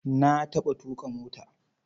Na taɓa tuƙa mota.